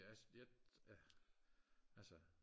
jeg jeg altså